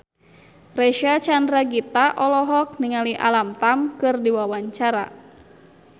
Reysa Chandragitta olohok ningali Alam Tam keur diwawancara